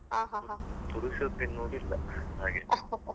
ಪುರ್ಸೊತ್ ಎನ್ನುದ್ ಇಲ್ಲ ಹಾಗೆ .